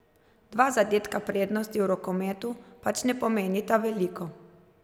Dva zadetka prednosti v rokometu pač ne pomenita veliko.